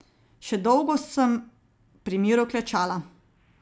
Še dolgo sem pri miru klečala.